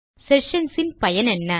sessions இன் பயனென்ன